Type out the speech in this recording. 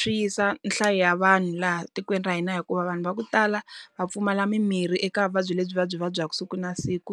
swi yisa nhlayo ya vanhu laha tikweni ra hina hikuva vanhu va ku tala, va pfumala mimirhi eka vuvabyi lebyi va byi vabyaku siku na siku.